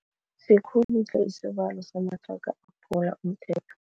Sikhulu tle isibalo samathraga aphula umthetho.